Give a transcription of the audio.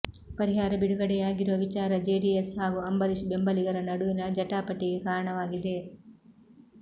ಪರಿಹಾರ ಬಿಡುಗಡೆಯಾಗಿರುವ ವಿಚಾರ ಜೆಡಿಎಸ್ ಹಾಗೂ ಅಂಬರೀಶ್ ಬೆಂಬಲಿಗರ ನಡುವಿನ ಜಟಾಪಟಿಗೆ ಕಾರಣವಾಗಿದೆ